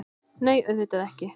Nei, auðvitað ekki!